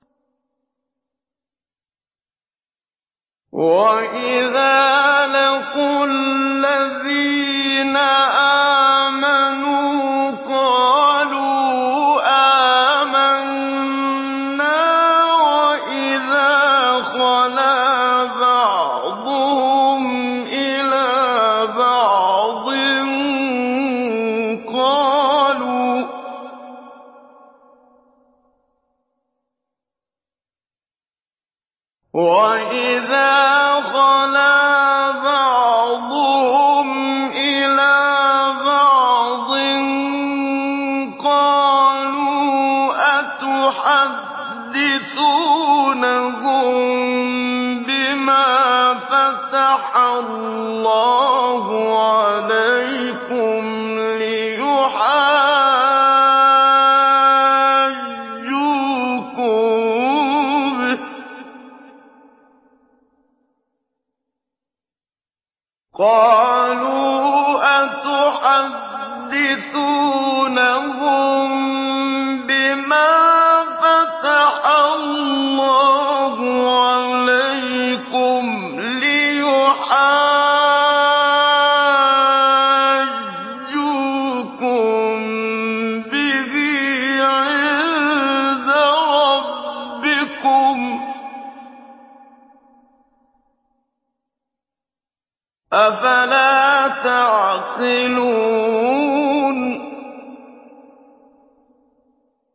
وَإِذَا لَقُوا الَّذِينَ آمَنُوا قَالُوا آمَنَّا وَإِذَا خَلَا بَعْضُهُمْ إِلَىٰ بَعْضٍ قَالُوا أَتُحَدِّثُونَهُم بِمَا فَتَحَ اللَّهُ عَلَيْكُمْ لِيُحَاجُّوكُم بِهِ عِندَ رَبِّكُمْ ۚ أَفَلَا تَعْقِلُونَ